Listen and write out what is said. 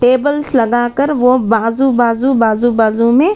Tables लगाकर वो बाजू बाजू बाजू बाजू में।